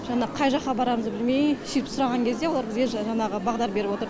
жана қай жаққа барарымызды білмеей сөйтіп сұраған кезде олар бізге жаңағы бағдар беріп отырды